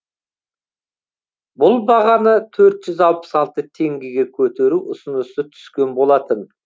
бұл бағаны төрт жүз алпыс алты теңгеге көтеру ұсынысы түскен болатын